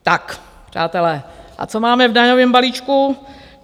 Tak, přátelé, a co máme v daňovém balíčku?